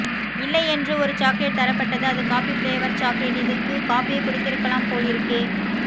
இல்லை என்று ஒரு சாக்லேட் தரப்பட்டது அது காபி ப்ளேவர் சாக்லேட் இதுக்கு காப்பியே குடித்திருக்கலாம் போலிருக்கே